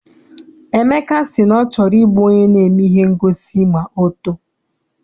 Emeka si na ọ chọrọ I bụ onye na-eme ihe ngosi ma ọ too.